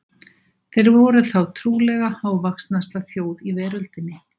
Þeir voru þá trúlega hávaxnasta þjóð í veröldinni.